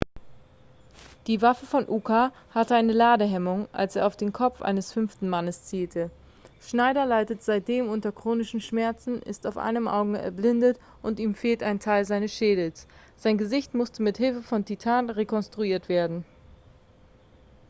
die waffe von uka hatte eine ladehemmung als er auf den kopf eines fünften mannes zielte schneider leitet seitdem unter chronischen schmerzen ist auf einem auge erblindet und ihm fehlt ein teil seines schädels sein gesicht musste mit hilfe von titan rekonstruiert werden